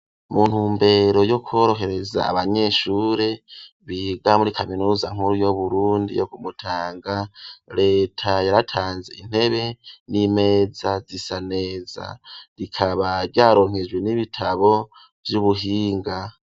Mu ntumbero yo kworohereza abanyeshuri biga muri kaminuza nkuru yu Burundi yo ku Mutanga, leta yaratanze intebe n'imeza zisa neza rikaba ryaronkejwe n'ibitabo vy'ubuhinga.